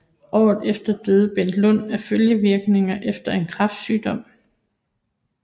Året efter døde Bent Lund af følgevirkninger efter en kræftsygdom